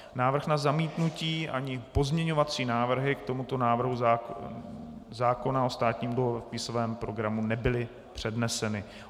Návrh na zamítnutí ani pozměňovací návrhy k tomuto návrhu zákona o státním dluhopisovém programu nebyly předneseny.